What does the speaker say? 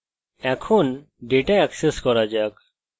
এখন data access করা যাক